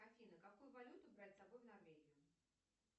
афина какую валюту брать с собой в норвегию